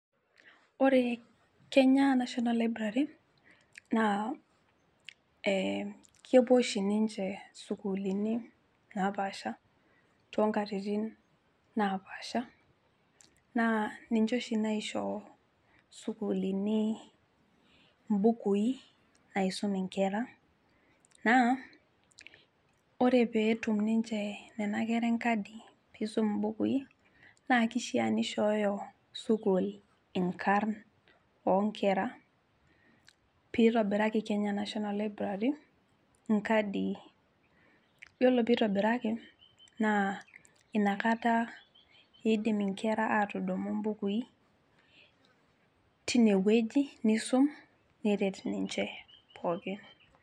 Ore Kenya Nationa Library naa ee kepuo oshi ninche sukuulini napasha toonkatitin napasha naa ninche oshi naisho sukuulini imbukui nisum inkera naa ore peetum ninche nena kera enkadi pisum imbukui naa kishaa nishooyo sukuul inkarn oonkera, pitobiraki Kenya National Library inkadii , yiolo pitobiraki naa inakata idim inkera atudumu imbukui tine wueji nisum neret ninche pookin.